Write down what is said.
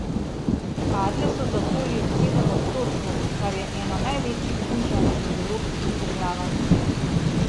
Padle so za okoli sedem odstotkov, kar je eno največjih znižanj med evropskimi državami.